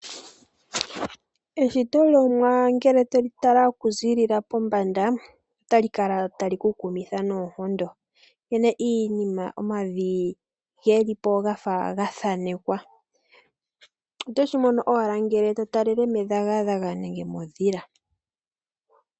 Eshito lOmuwa ngele to li tala okuzilila pombanda otali kala tali ku tilitha noonkondo, nkene omavi geli po gafa ga thaanekwa. Oto shi mono owala ngele to talele medhagadhaga nenge modhila.